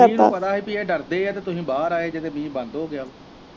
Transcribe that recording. ਮੀਂਹ ਨੂੰ ਪਤਾ ਹੀ ਕਿ ਉਹ ਡਰ ਦੇ ਤੇ ਤੁਸੀਂਂ ਬਾਹਰ ਆਉਗੇ ਤੇ ਮੀਂਹ ਬੰਦ ਹੋ ਗਿਆ ਹੀ।